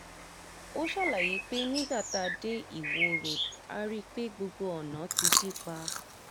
ó ṣàlàyé pé nígbà tá a dé ìwọ road a rí i pé gbogbo ọ̀nà ti dí pa